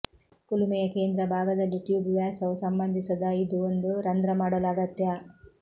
ಕುಲುಮೆಯ ಕೇಂದ್ರ ಭಾಗದಲ್ಲಿ ಟ್ಯೂಬ್ ವ್ಯಾಸವು ಸಂಬಂಧಿಸದ ಇದು ಒಂದು ರಂಧ್ರ ಮಾಡಲು ಅಗತ್ಯ